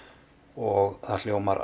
og það hljómar